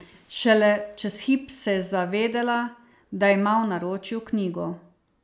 Šele čez hip se je zavedela, da ima v naročju knjigo.